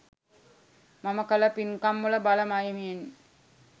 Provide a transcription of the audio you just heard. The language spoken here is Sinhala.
මම කළ පින්කම්වල බල මහිමයෙන්